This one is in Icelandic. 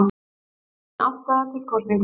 Blendin afstaða til kosninga